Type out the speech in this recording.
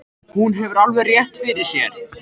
Hún hefur alveg rétt fyrir sér.